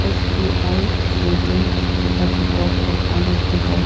S_B_I is written at the top of one of the house.